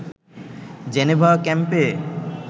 Geneva ক্যাম্পে